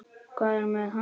Hvað er með hann?